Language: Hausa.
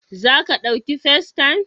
Za ka ɗauki Festaym?